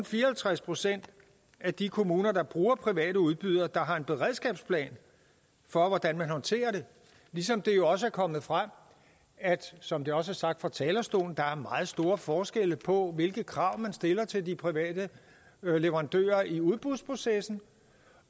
fire og halvtreds procent af de kommuner der bruger private udbydere der har en beredskabsplan for hvordan man håndterer det ligesom det jo også er kommet frem som det også er sagt fra talerstolen at der er meget store forskelle på hvilke krav man stiller til de private leverandører i udbudsprocessen